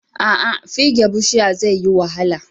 Aa fige bushiya zaiyi wahala